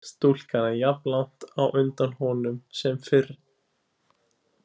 Stúlkan er jafnlangt á undan honum sem fyrr.